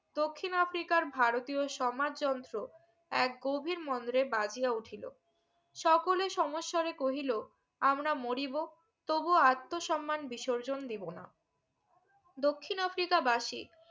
দক্ষিন আফ্রিকার ভারতীয় সমাজ যন্ত্র এক গভীর মন্দ্রে বাজিয়া উঠিলো সকলে সমস্বরে কহিলো আমরা মরিবো তবুও আত্মসম্মান বিসর্জন দিব না দক্ষিন আফ্রিকা বাসি